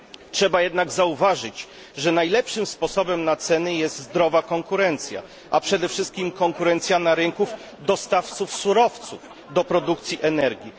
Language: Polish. Trzeba jednak zauważyć, że najlepszym sposobem na ceny jest zdrowa konkurencja, a przede wszystkim konkurencja na rynku dostawców surowców do produkcji energii.